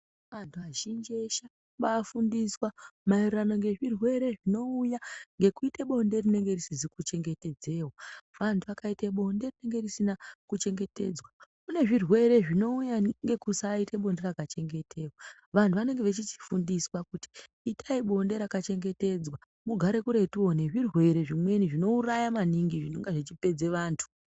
Antu azhinji eshe obafundiswa zvirwere zvinouya ngokuita bonde rinenge risizwi kuchengetedzewa antu akaita bonde rinenge risina kuchengetedzwa kune zvirwere zvinouya ngesaite bonde rakachengetedzwa vantu vanenge vechichifundiswa kuti itai bonde rakachengetedzwa mugare kuretuwo nezvirwere zvinouraya maningi zvimonga zvichipedze vantu.